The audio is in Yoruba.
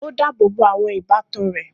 Ó dáàbò bo àwọn ìbátan rẹ̀.